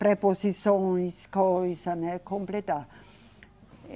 preposições, coisa, né, completar.